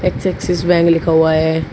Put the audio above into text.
Sexist bank लिखा हुआ है।